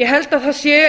ég held að það sé